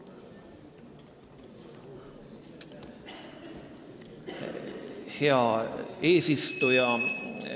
Hea eesistuja!